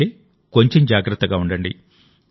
అయితే కొంచెం జాగ్రత్తగా ఉండండి